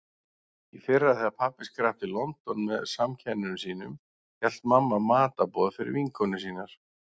Í fyrra þegar pabbi skrapp til London með samkennurum sínum hélt mamma matarboð fyrir vinkonur sínar.